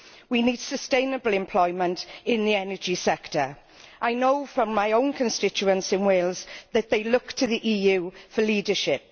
We need sustainable employment in the energy sector. I know from my own constituency in Wales that they look to the EU for leadership.